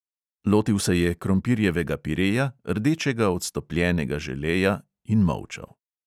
Lotil se je krompirjevega pireja, rdečega od stopljenega želeja, in molčal.